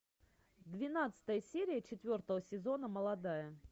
двенадцатая серия четвертого сезона молодая